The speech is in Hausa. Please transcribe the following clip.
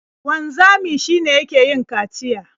Wanzami shi ne yake yin kaciya.